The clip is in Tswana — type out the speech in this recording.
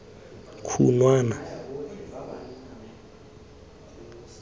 khunwana